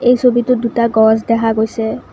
এই ছবিটোত দুটা গছ দেখা গৈছে।